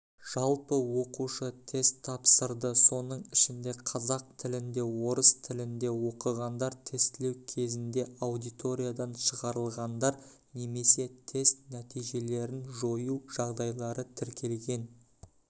жалпы оқушы тест тапсырды соның ішінде қазақ тілінде орыс тілінде оқығандар тестілеу кезінде аудиториядан шығарылғандар немесе тест нәтижелерін жою жағдайлары тіркелген